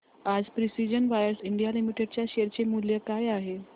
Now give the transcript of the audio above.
आज precision wires India limited च्या share चे मूल्य काय आहे